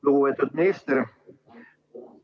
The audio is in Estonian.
Lugupeetud minister!